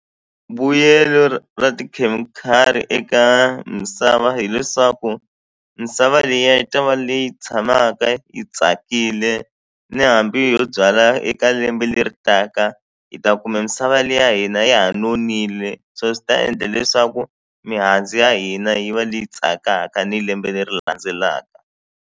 Vuyelo ra tikhemikhali eka misava hileswaku misava liya yi ta va leyi tshamaka yi tsakile ni hambi yo byala eka lembe leri taka hi ta kuma misava leyi ya hina ya ha nonile so swi ta endla leswaku mihandzu ya hina yi va leyi tsakaka ni lembe leri landzelaka.